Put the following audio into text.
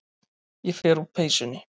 Ég fer úr peysunni.